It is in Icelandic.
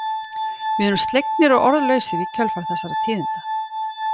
Við erum slegnir og orðlausir í kjölfar þessara tíðinda.